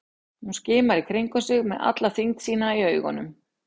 Hún skimar í kringum sig með alla þyngd sína í augunum.